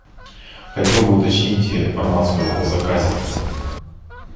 хотел бы уточнить информацию о заказе